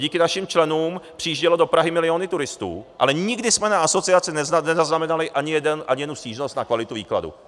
Díky našim členům přijížděly do Prahy miliony turistů, ale nikdy jsme na asociaci nezaznamenali ani jednu stížnost na kvalitu výkladu.